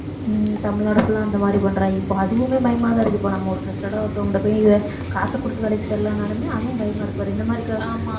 ஹம் Tamil Nadu full ஆ அந்த மாதிரி பண்றாங்க. இப்ப அதுவுமே பயமாதான் இருக்கு. இப்ப நம்ம ஒரு trusted அ ஒருத்தவங்க கிட்ட போய் இத காசு கொடுத்து வேலைக்கு செல்லலானாலுமே அதுவும் பயமா இருக்கு பாரு இந்த மாதிரி